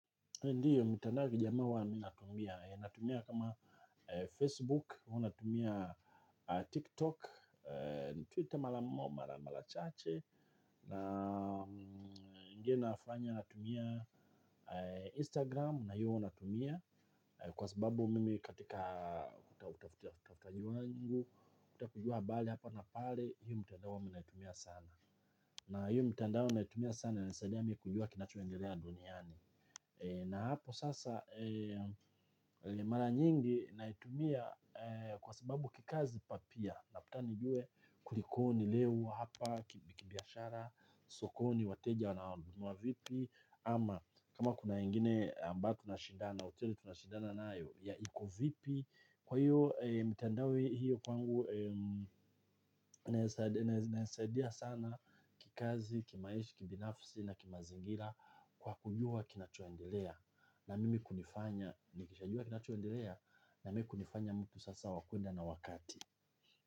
Ndiyo mitandao ya kijamii huwa natumia natumia kama facebook ama natumia tiktok twitter mara chache na je nafanya natumia Instagram, na hiyo huwa natumia, kwa sababu mimi katika kutafuta jua nyingu, kutafutajua bali hapa na pale, hiyo mitanda wa minatumia sana. Na hiyo mitanda wa minatumia sana, na nisadiya mimi kujua kinachuengerea duniani. Na hapo sasa, mara nyingi naitumia kwa sababu kikazi ama pia labda nijue kulikoni leo hapa kibiashara sokoni wateja wananunua vipi ama kama kuna ingine amba tunashindana hoteli tunashindana na ayo ya iko vipi kwa hiyo mtendawi hiyo kwangu nasaidia sana kikazi, kimaisha, kibinafisi na kimazingira kwa kujua kinachoendelea na mimi kunifanya nikishajua kinachoendelea na me kunifanya mtu sasa wa kwenda na wakati.